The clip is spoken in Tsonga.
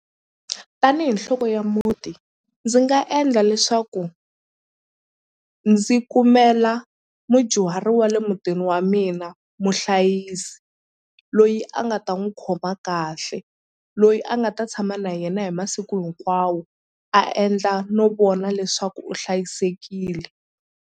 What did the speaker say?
Tanihi nhloko ya muti ndzi nga endla leswaku ndzi kumela mudyuhari wa le mutini wa mina muhlayisi loyi a nga ta n'wu khoma kahle loyi a nga ta tshama na yena hi masiku hinkwawo a endla no vona leswaku u hlayisekile.